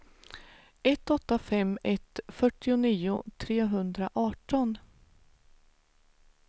ett åtta fem ett fyrtionio trehundraarton